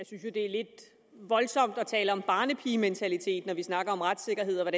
lidt voldsomt at tale om barnepigementalitet når vi snakker om retssikkerhed og